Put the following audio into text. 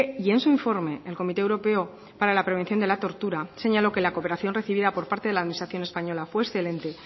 y en su informe el comité europeo para la prevención de la tortura señaló que la cooperación recibida por parte de la administración española fue excelente